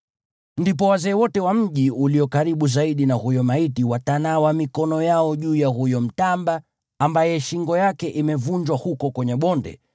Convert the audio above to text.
Ndipo wazee wote wa mji ulio karibu zaidi na huyo maiti watanawa mikono yao juu ya huyo mtamba ambaye shingo yake imevunjwa huko kwenye bonde,